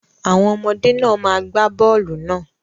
Àwọn ọmọdé náà má gba bọ́ọlù náà.